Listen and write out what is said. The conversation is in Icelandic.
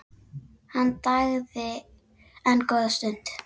Hann þagði enn góða stund.